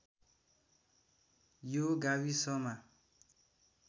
यो गाविसमा